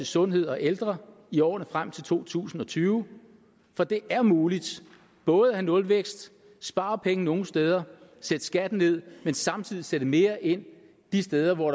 sundhed og ældre i årene frem til to tusind og tyve for det er muligt både at have nulvækst spare penge nogle steder sætte skatten ned samtidig sætte mere ind de steder hvor